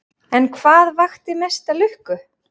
En hvað vakti mesta lukku?